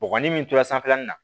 Bɔgɔ ni min tora sanfɛlan nin na